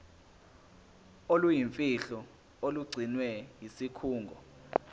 oluyimfihlo olugcinwe yisikhungo